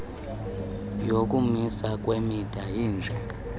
yokumiswa kwemida iye